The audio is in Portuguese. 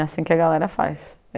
É assim que a galera faz.